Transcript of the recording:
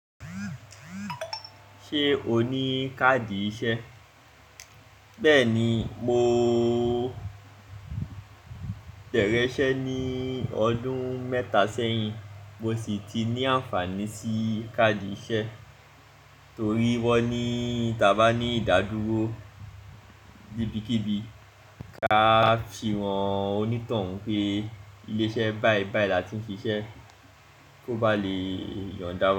Ṣé o ní káàdì iṣẹ́? Bẹ́ẹ̀ni, mo bẹrẹ isẹ ní ọdún mẹ́ta sẹ́yìn mo sì ti ní àǹfààní sí káàdì iṣẹ́ torí wọ́n ní tí a bá ní ìdádúró níbikíbi, ká fi hàn onítòhún pé ilé iṣẹ́ báìbàì láti n siṣẹ́ kó ba lè yọ̀ndá wa.